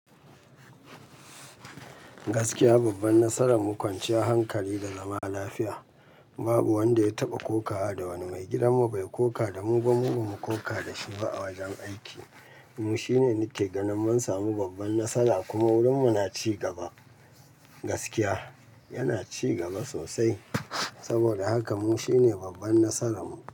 Gaskiya babban nasara mu kwanciyar hankali da zama lafiya. Babu wanda ya taɓa kokawa da wani mai gidanmu bai koka da mu ba, mu kuma ba mu koka da shi ba a wajen aiki. Mu shine nake ganin mun samu babban nasara kuma wurin mu na cigaba gaskiya, yana cigaba sosai. Saboda haka mu shine babban nasaran mu.